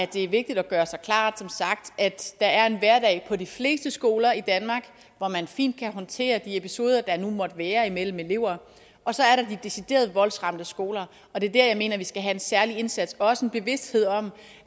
det er vigtigt at gøre sig klart at der er en hverdag på de fleste skoler i danmark hvor man fint kan håndtere de episoder der nu måtte være imellem elever og så er der de decideret voldsramte skoler og det er der jeg mener vi skal have en særlig indsats og også en bevidsthed om